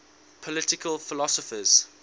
political philosophers